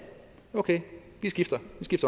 okay vi skifter